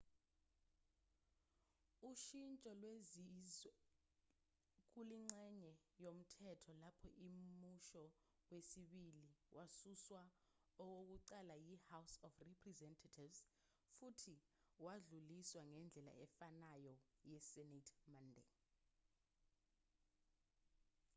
ushintsho lwenziwe kulengxenye yomthetho lapho imusho wesibili wasuswa okokuqala yi-house of representatives futhi wadluliswa ngendlela efanayo yi-senate monday